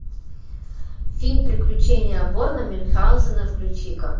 фильм приключение барона мюнхаузена включи ка